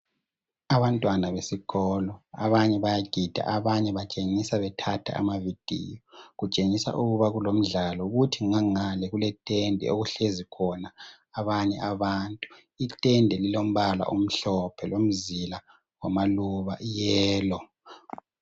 Abantwana besikolo abanye bayagida, abanye batshengisa bethatha ama"video" kutshengisa ukuba kulomdlalo, kuthi ngangale kuletende okuhlezi khona abanye abantu, itende lilombala omhlophe lomzila loba i"yellow".